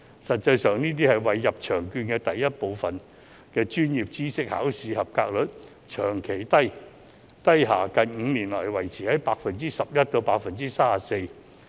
實際上，作為"入場券"第一部分專業知識考試及格率長期低下，近5年來維持在 11% 至 34%。